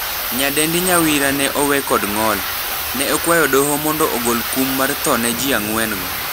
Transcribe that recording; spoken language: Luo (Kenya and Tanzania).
Nyadendi Nyawira ne owe kod ng'ol. Ne okwayo doho mondo ogol kum mar tho ne jii angwen go.